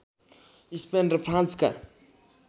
Spain र फ्रान्सका